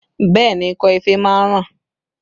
Bẹẹ ni, ikọ́ ife máa ń ràn